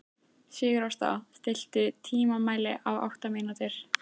Sigurásta, stilltu tímamælinn á átta mínútur.